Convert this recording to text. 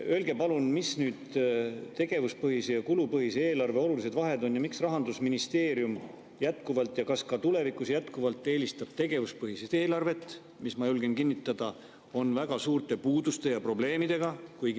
Öelge palun, mis on tegevuspõhise ja kulupõhise eelarve olulised vahed ja miks Rahandusministeerium eelistab jätkuvalt ja kas eelistab ka tulevikus jätkuvalt tegevuspõhist eelarvet, mis – ma julgen kinnitada – on väga suurte puuduste ja probleemidega.